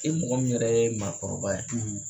E mɔgɔ min yɛrɛ ye maa kɔrɔba ye